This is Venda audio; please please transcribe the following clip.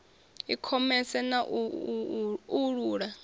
i khomese na u uula